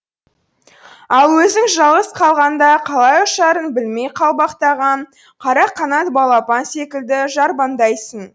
ал өзің жалғыз қалғанда қалай ұшарын білмей қалбақтаған қара қанат балапан секілді жарбаңдайсың